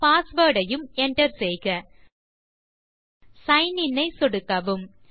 password ஐயும் Enter செய்க sign in ஐ சொடுக்கவும்